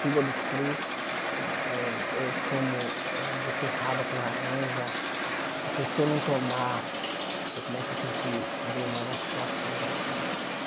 Fígado cru, eh eh tomo eh beterraba com laranja, porque se eu não tomar, eu começo a sentir dores nas articulações, aí pronto.